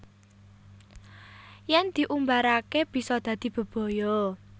Yen diumbarake bisa dadi bebaya